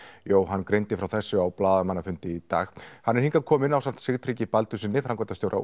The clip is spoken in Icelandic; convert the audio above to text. Jóhann greindi frá þessu á blaðamannafundi í dag hann er hingað kominn ásamt Sigtryggi Baldurssyni framkvæmdastjóra